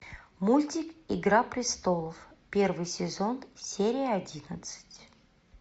мультик игра престолов первый сезон серия одиннадцать